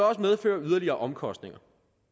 også medføre yderligere omkostninger